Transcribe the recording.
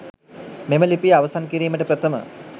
මෙම ලිපිය අවසන් කිරීමට ප්‍රථම